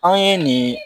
Anw ye nin